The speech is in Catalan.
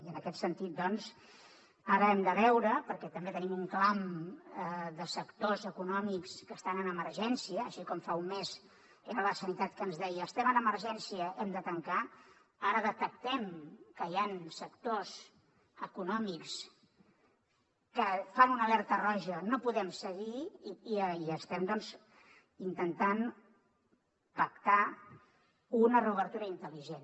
i en aquest sentit doncs ara hem de veure perquè també tenim un clam de sectors econòmics que estan en emergència així com fa un mes era la sanitat que ens deia estem en emergència hem de tancar ara detectem que hi ha sectors econòmics que fan una alerta roja no podem seguir i estem intentant pactar una reobertura intel·ligent